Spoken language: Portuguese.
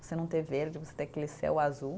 Você não ter verde, você ter aquele céu azul.